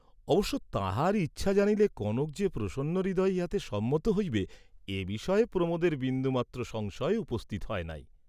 অবশ্য তাঁহার ইচ্ছা জানিলে কনক যে প্রসন্ন হৃদয়ে ইহাতে সম্মত হইবে, এবিষয়ে প্রমোদের বিন্দুমাত্র সংশয় উপস্থিত হয় নাই।